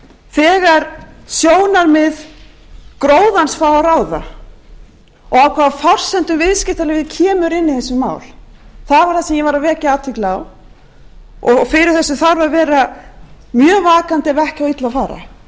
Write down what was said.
þegar sjónarmið gróðans fá að ráða og á hvaða forsendum viðskiptalífið kemur inn í þessi mál það var það sem ég var að vekja athygli á og fyrir þessu þarf að vera mjög vakandi ef ekki á illa að fara